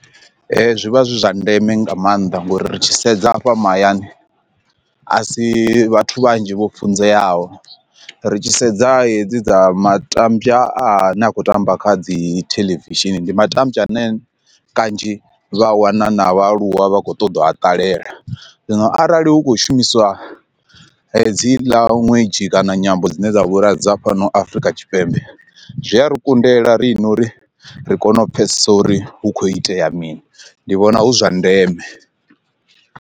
Zwi vha zwi zwa ndeme nga maanḓa ngori ri tshi sedza afha mahayani a si vhathu vhanzhi vho funzeaho ri tshi sedza hedzi dza matambya a ne a khou tamba kha dzi television ndi matambya ane kanzhi vha wana na vhaaluwa vha khou ṱoḓa u ha ṱalela, zwino arali hu khou shumiswa hedziḽa ṅwedzhi kana nyambo dzine dza vhulwadze dza fhano Afrika Tshipembe, zwi a ri kundela riṋe uri ri kone u pfhesesa uri hu kho itea mini ndi vhona hu zwa ndeme.